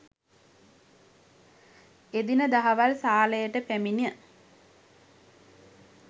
එදින දහවල් සාලයට පැමිණ